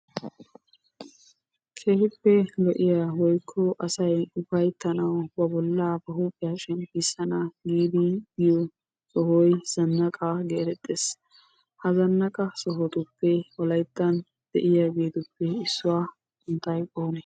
Keehippe lo"iya woykko asa ufayttanawu ba bolla ba huuphiya shemppisan giidi biyo sohoy zannaqa getettees. Ha zaanaqqa sohotuppe wolayttan de'iyaageetuppe issuwa sunttay oone?